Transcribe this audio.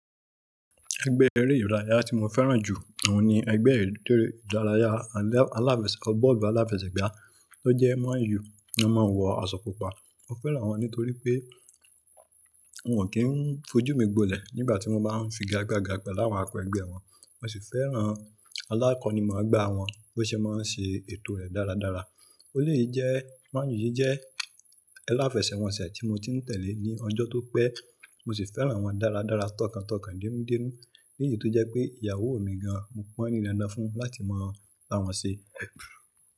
Ẹgbẹ́ eré ìdárayá tí mo fẹ́ràn jù òun ni ẹgbẹ́ eré ìdárayá aláfẹsẹ̀gbá tó jẹ́ Man U. Wọ́n máa ń wọ aṣọ pupa. Mo fẹ́ràn wọ́n nítorí pé wọ́n ò kí ń fojú mi gbọ́lẹ̀ nígbà tí wọ́n bá ń figagbaga pẹ̀lú àwọn akọ ẹgbẹ́ wọn. Mo sì fẹ́ràn alákọní mọ̀gbà wọ́n bó ṣe máa ń ṣe ètò rẹ̀ dáradára,.ó lèé jẹ́ Man U yìí jẹ́ aláfẹsẹ̀wọnsẹ̀ tí mo ti ń tẹ̀lé ní ọjọ́ tó pẹ́. Mo sì fẹ́ràn wọ́n dáradára tọkàntọkàn, dénúdénú. Níyì tí ó jẹ́ pé ìyàwó mi gan an, mo pọn ń ní dandan fún un láti mọ bí wọ́n ṣe.